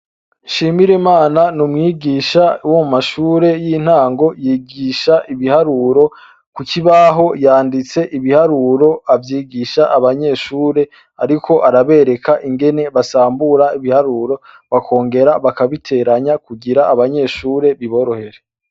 Nshimirimana n' umwigisha wo mu mashure y' intango yigish' ibiharuro, ku kibaho yandits'ibiharuro, avyigish' abanyeshure, arik' araberek' ingene basambura bakongera bakabiteranya kugir' abanyeshure biborohere.